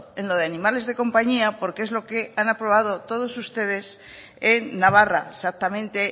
en lo de animales de compañía porque es lo que han aprobado todos ustedes en navarra exactamente